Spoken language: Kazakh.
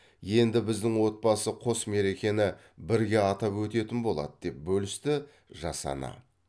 енді біздің отбасы қос мерекені бірге атап өтетін болады деп бөлісті жас ана